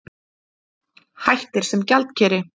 Hættir sem gjaldkeri